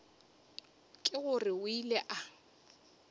ke gore o ile a